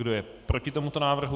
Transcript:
Kdo je proti tomuto návrhu?